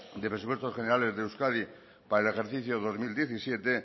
de presupuestos generales de euskadi para el ejercicio dos mil diecisiete